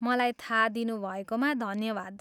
मलाई थाहा दिनुभएकोमा धन्यवाद।